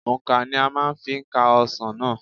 Òǹkà ni a máa fi ka ọsàn náà.